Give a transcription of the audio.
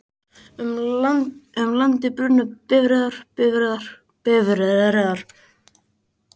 Um landið bruna bifreiðar, bifreiðar, bifreiðar,